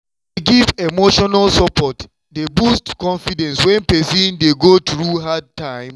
to dey give emotional support dey boost confidence when person dey go through hard time.